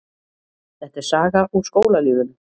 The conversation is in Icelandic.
Þetta er saga úr skólalífinu.